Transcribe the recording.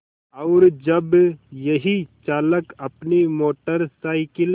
और जब यही चालक अपनी मोटर साइकिल